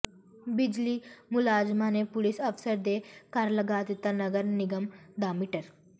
ਬਿਜਲੀ ਮੁਲਾਜ਼ਮਾਂ ਨੇ ਪੁਲੀਸ ਅਫ਼ਸਰ ਦੇ ਘਰ ਲਗਾ ਦਿੱਤਾ ਨਗਰ ਨਿਗਮ ਦਾ ਮੀਟਰ